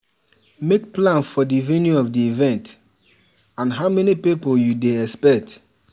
make plan for di venue of di event and how many pipo you dey expect